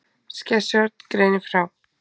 Skessuhorn greinir frá